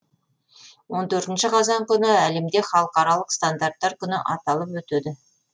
он төртінші қазан күні әлемде халықаралық стандарттар күні аталып өтеді